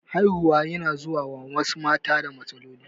Haihuwa yana zuwa ma wasu mata da matsaloli.